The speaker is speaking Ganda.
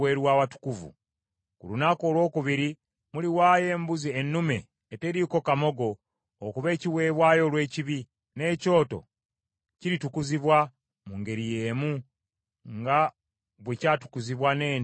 “Ku lunaku olwokubiri muliwaayo embuzi ennume eteriiko kamogo okuba ekiweebwayo olw’ekibi, n’ekyoto kiritukuzibwa mu ngeri y’emu nga bwe kyatukuzibwa n’ente ennume.